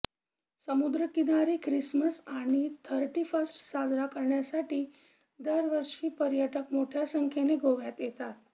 समुद्रकिनारी ख्रिसमस आणि thirty first साजरा करण्यासाठी दरवर्षी पर्य़टक मोठ्या संख्येने गोव्यात येतात